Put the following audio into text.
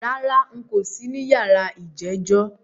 Rárá, n̄ kò sí ní yàrá ìjẹ́jọ́